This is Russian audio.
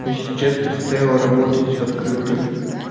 но сейчас предстояло работать в открытую